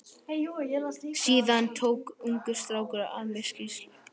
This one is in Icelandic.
Síðan tók ungur strákur af mér skýrslu.